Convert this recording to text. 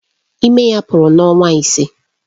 Ime ya pụrụ n'ọnwa ise.